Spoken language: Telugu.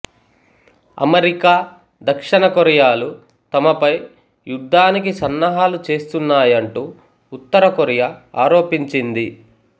అమెరికా దక్షిణ కొరియాలు తమపై యుద్ధానికి సన్నాహాలు చేస్తున్నాయంటూ ఉత్తర కొరియా ఆరోపించింది